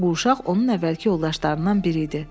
Bu uşaq onun əvvəlki yoldaşlarından biri idi.